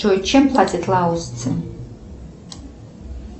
джой чем платят лаосцы